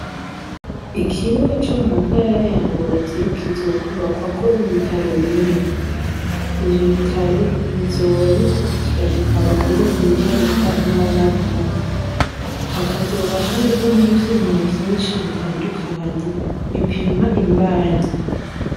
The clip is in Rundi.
Ikibuga co mu ntara ya Ngozi kizokwubakwako ibitaro binini. Ivyo bitaro bizoba bikurikirana abagore bibaruka n'abana bato. Hakazoba hariho n'ivyuma vyinshi bitandukanye bipima imbanyi.